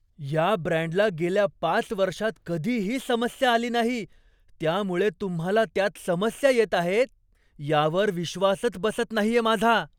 या ब्रँडला गेल्या पाच वर्षांत कधीही समस्या आली नाही, त्यामुळे तुम्हाला त्यात समस्या येत आहेत यावर विश्वासच बसत नाहीये माझा.